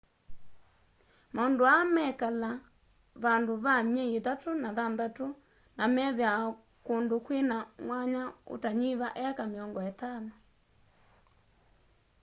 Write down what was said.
maũndũ aa mekala vandũ va myei ĩtatũ na thanthatũ namethiawa kũndũ kwĩna mwanya utanyiva heka 50